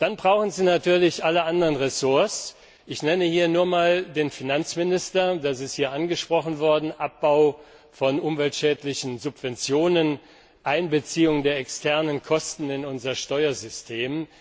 Dann brauchen Sie natürlich alle anderen Ressorts. Ich nenne hier nur einmal den Finanzminister das ist hier angesprochen worden Abbau von umweltschädlichen Subventionen, Einbeziehung der externen Kosten in unser Steuersystem.